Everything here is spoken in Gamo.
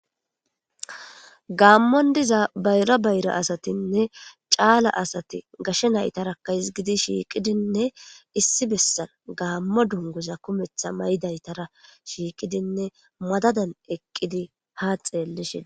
gaammon diza bayra bayra asatinne caala asati gashe naytarakaisgidi shiiqidinne issi bessan gaammo dunguza kumetha maydaytara shiiqidinne madadan eqqidi ha xeellishin